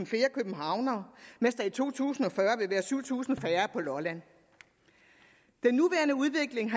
flere københavnere mens der i to tusind og fyrre vil være syv tusind færre på lolland den nuværende udvikling